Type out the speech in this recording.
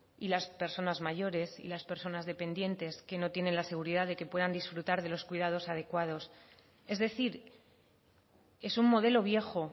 y las personas mayores y las personas dependientes que no tienen la seguridad de que puedan disfrutar de los cuidados adecuados es decir es un modelo viejo